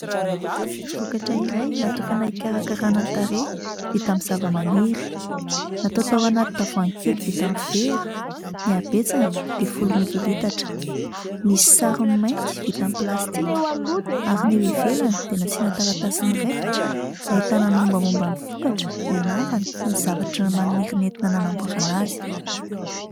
Vokatra iray natokana hikarakarana tarehy, vita amin'ny zavamaniry. Natao tao anaty tavoahangy kely vita amin'ny vera. Ny habetsany dia folo mililitatra. Misy sarony mainty vita amin'ny plastika ary ny ivelany dia nasiana taratasy miraikitra ahitana ny mombamomba ny vokatra, ny anarany sy ny zavatra maniry nentina nanamboarana azy.